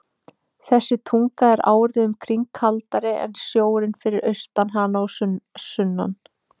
Þessi tunga er árið um kring kaldari en sjórinn fyrir austan hana og sunnan.